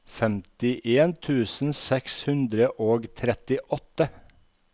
femtien tusen seks hundre og trettiåtte